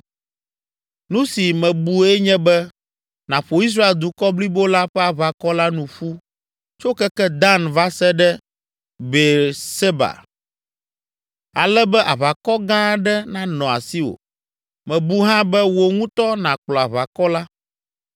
“Nu si mebue nye be nàƒo Israel dukɔ blibo la ƒe aʋakɔ la nu ƒu tso keke Dan va se ɖe Beerseba ale be aʋakɔ gã aɖe nanɔ asiwò. Mebu hã be wò ŋutɔ nàkplɔ aʋakɔ la.